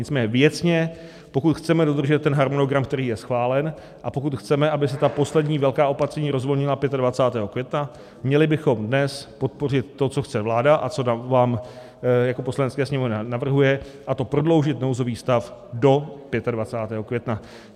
Nicméně věcně, pokud chceme dodržet ten harmonogram, který je schválen, a pokud chceme, aby se ta poslední velká opatření rozvolnila 25. května, měli bychom dnes podpořit to, co chce vláda a co vám jako Poslanecké sněmovně navrhuje, a to prodloužit nouzový stav do 25. května.